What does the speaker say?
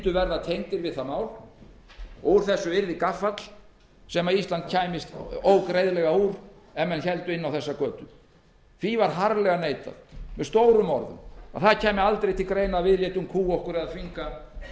mundu verða tengdir við það mál og úr þessu yrði gaffall sem ísland kæmist ógreiðlega úr ef menn héldu inn á þessa götu því var harðlega neitað með stórum orðum að til greina kæmi að við létum kúga okkur eða þvinga